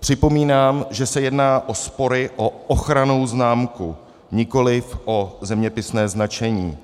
připomínám, že se jedná o spory o ochrannou známku, nikoliv o zeměpisné značení.